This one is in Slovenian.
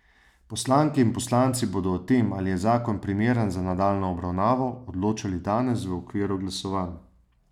Poslanke in poslanci bodo o tem, ali je zakon primeren za nadaljnjo obravnavo, odločali danes v okviru glasovanj.